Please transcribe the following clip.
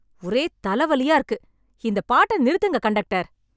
ஒரே தலவலியா இருக்கு. இந்த பாட்ட நிறுத்துங்க கண்டக்டர்.